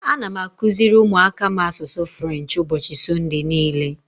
Ana m akụziri ụmụaka m asụsụ French ụbọchị Sọnde niile.